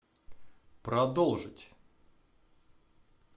продолжить